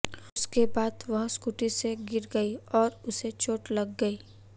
उसके बाद वह स्कूटी से गिर गई और उसे चोट लग गई